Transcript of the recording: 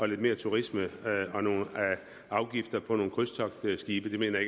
lidt mere turisme og nogle afgifter på nogle krydstogtskibe mener